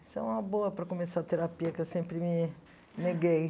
Isso é uma boa para começar a terapia, que eu sempre me neguei.